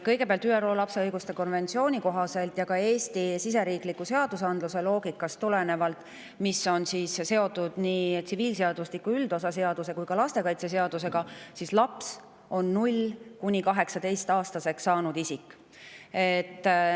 Kõigepealt, ÜRO lapse õiguste konventsiooni kohaselt ja tulenevalt Eesti siseriikliku seadusandluse loogikast, mis on seotud nii tsiviilseadustiku üldosa seaduse kui ka lastekaitseseadusega, on laps 0–18-aastaseks saanud isik.